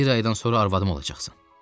Bir aydan sonra arvadım olacaqsan.